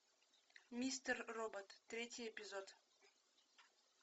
мистер робот третий эпизод